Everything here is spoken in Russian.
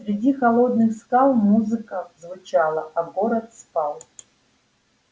среди холодных скал музыка звучала а город спал